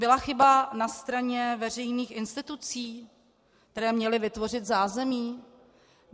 Byla chyba na straně veřejných institucí, které měly vytvořit zázemí?